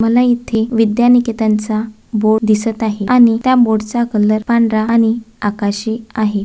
मला येथे विद्यानिकेतन चा बोर्ड दिसत आहे आणि त्या बोर्ड चा कलर पांढरा आणि आकाशी आहे.